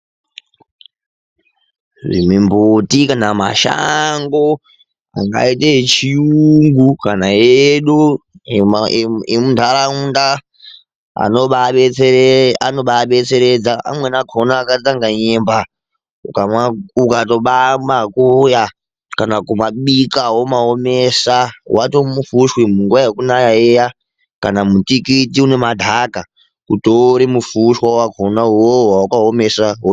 Mumbuti kana mashango angauta yechiyungu kana edu emunharaunda anobadetseredza. Amweni akhona akaita senge nyemba ukabamakuya kana kumabika womaomesa wataa mufushwa. Munguwa yekunaya iyaa kana mutikiti nemagaka kutora mufushwa wakhona uwowo wawakaomesa.